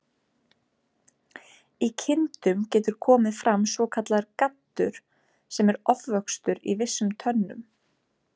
Í kindum getur komið fram svokallaður gaddur, sem er ofvöxtur í vissum tönnum.